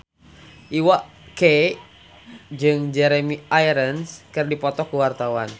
Iwa K jeung Jeremy Irons keur dipoto ku wartawan